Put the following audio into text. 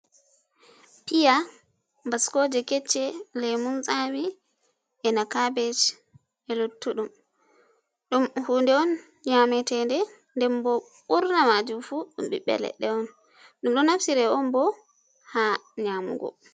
Piya, baskoje kecce, lemum tsami, e na kabej e luttu ɗum, ɗum huuɗe on nyameteɗe den bo burna majum fu dum ɓiɓɓe leɗɗe on, ɗum ɗo nafsire on bo ha nyamugo.